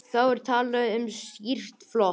Þá er talað um stýrt flot.